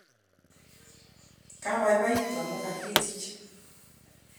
kabaibaitu amu kakitich